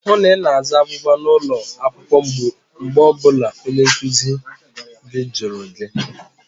Hụụ na Ị na-aza agwụgwa n'ụlọ akwụkwọ mgbe ọ bụla onye nkụzi gị jụrụ gị!